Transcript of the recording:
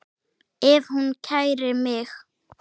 Ef hún kærir mig.